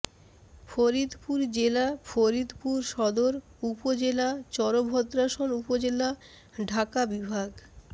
ফরিদপুর জেলা ফরিদপুর সদর উপজেলা চরভদ্রাসন উপজেলা ঢাকা বিভাগ